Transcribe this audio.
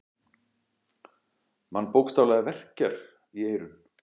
Mann bókstaflega verkjar í eyrun.